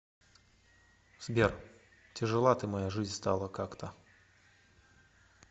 сбер тяжела ты моя жизнь стала как то